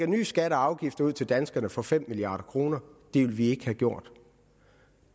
nye skatter og afgifter ud til danskerne for fem milliard kroner det ville vi ikke have gjort